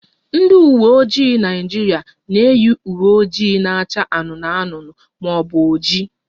Ndị uwe ojii Naịjirịa na-eyi uwe ojii na-acha anụnụ anụnụ ma ọ bụ oji